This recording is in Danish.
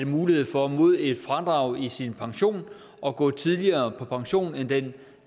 mulighed for mod et fradrag i sin pension at gå tidligere på pension end ved den